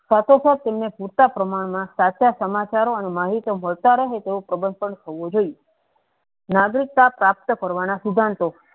સાથો સાથ તેમને છુટા પ્રમાણ મા સાચા સમાચારો અને માહીતો મળતા રહે તો ખબર પણ થવુ જોયીયે નાગરિકતા પ્રાપ્ત કરવા સિદ્ધાંતો